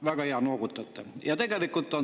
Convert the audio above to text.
Väga hea, te noogutate.